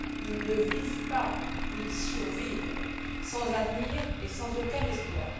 Ils ne vivent pas, ils survivent, sans avenir et sans aucun espoir.